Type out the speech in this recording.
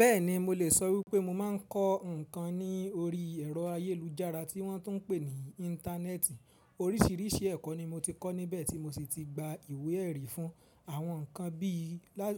Bẹ́ẹ̀ni, mo lè sọ wípé mo máa ń kọ́ nǹkan ní orí ẹ̀rọ ayélujára tí wọ́n tún ń pè ní Íńtánẹ́ẹ̀tì. Orísìírísìí ẹ̀kọ́ ni mo ti kọ́ níbẹ̀ tí mo sì ti gba ìwé ẹ̀rí fún. Àwọn nǹkan bí i,